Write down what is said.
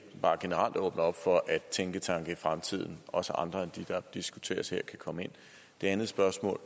bare generelt åbner op for at tænketanke i fremtiden også andre end dem der diskuteres her kan komme ind det andet spørgsmål